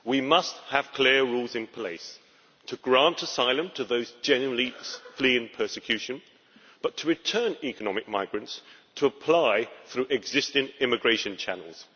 We must have clear rules in place to grant asylum to those genuinely fleeing persecution, and to return economic migrants to apply through existing immigration channels.